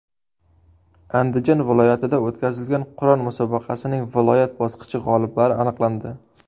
Andijon viloyatida o‘tkazilgan Qur’on musobaqasining viloyat bosqichi g‘oliblari aniqlandi.